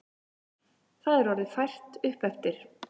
Það er orðið fært uppeftir.